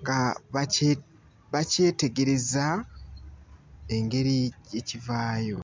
nga bakye bakyetegereza engeri gye kivaayo.